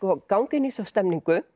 ganga inn í þessa stemningu